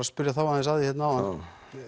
spyrja þá aðeins að því áðan